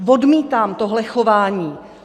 Odmítám tohle chování.